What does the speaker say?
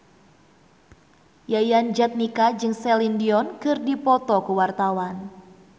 Yayan Jatnika jeung Celine Dion keur dipoto ku wartawan